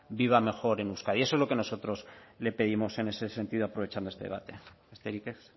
viva mejor en euskadi eso es lo que nosotros le pedimos en ese sentido aprovechando este debate besterik ez